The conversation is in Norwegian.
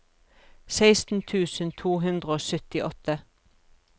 seksten tusen to hundre og syttiåtte